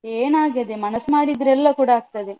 ಏನ್ ಆಗದೆ ಮನಸ್ಸು ಮಾಡಿದ್ರೆ ಎಲ್ಲ ಕೂಡ ಆಗ್ತದೆ.